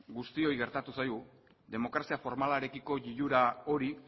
guztioi gertatu zaigu demokrazia formalarekiko lilura hori